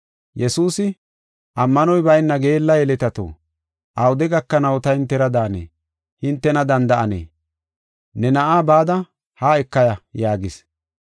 Yesuusi, “Ammanoy bayna geella yeletato, awude gakanaw ta hintera daane, hintena danda7anee? Ne na7aa bada haa ekaya” yaagis.